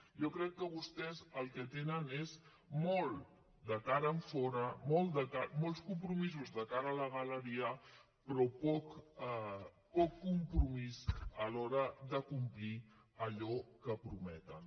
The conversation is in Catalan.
jo crec que vostès el que tenen és molt de cara enfora molts compromisos de cara a la galeria però poc compromís a l’hora de complir allò que prometen